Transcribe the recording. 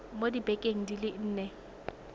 mo dibekeng di le nne